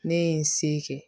Ne ye n se kɛ